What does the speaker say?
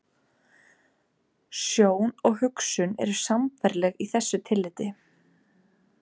Sjón og hugsun eru sambærileg í þessu tilliti.